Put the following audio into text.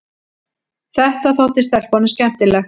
Þetta þótti stelpunum skemmtilegt.